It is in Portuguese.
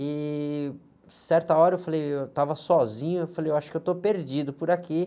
E, certa hora, eu falei, eu estava sozinho, eu falei, eu acho que eu estou perdido por aqui.